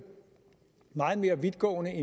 meget mere vidtgående